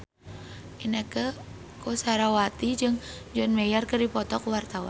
Inneke Koesherawati jeung John Mayer keur dipoto ku wartawan